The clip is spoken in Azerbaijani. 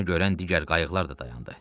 Bunu görən digər qayıqlar da dayandı.